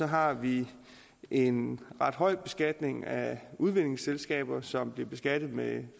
har vi en ret høj beskatning af udvindingsselskaber som bliver beskattet med